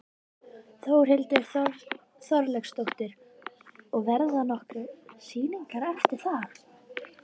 Þórhildur Þorkelsdóttir: Og verða nokkrar sýningar eftir það?